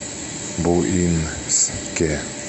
буинске